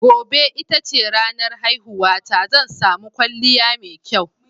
Gobe ita ce ranar haihuwata, zan sami kwalliya mai kyau.